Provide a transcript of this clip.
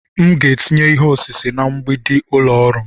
M ga-etinye ihe osise nka na mgbidi ụlọ ọrụ m.